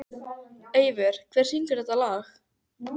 Eivör, hver syngur þetta lag?